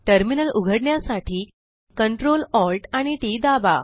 terminal उघडण्यासाठी control Alt आणि T T दाबा